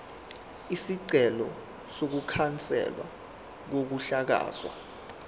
isicelo sokukhanselwa kokuhlakazwa